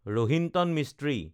Rohinton Mistry